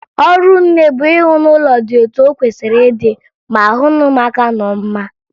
Ọrụ nne bụ ihụ na ụlọ dị etu o kwesiri ịdị, ma hụ na ụmụaka nọ mma